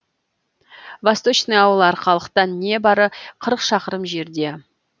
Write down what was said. восточный ауылы арқалықтан небары қырық шақырым жерде